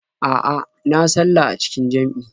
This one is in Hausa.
A'a, na sallah a cikin jam'i.